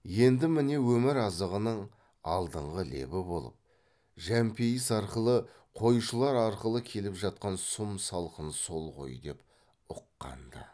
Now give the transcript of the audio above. енді міне өмір азығының алдыңғы лебі болып жәмпейіс арқылы қойшылар арқылы келіп жатқан сұм салқын сол ғой деп ұққан ды